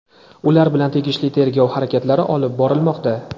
ular bilan tegishli tergov harakatlari olib borilmoqda.